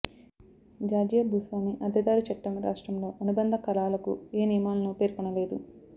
Georgia భూస్వామి అద్దెదారు చట్టం రాష్ట్రంలో అనుబంధ కాలాలకు ఏ నియమాలను పేర్కొనలేదు